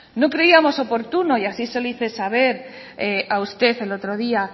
no creíamos oportuno y así se lo hice saber a usted el otro día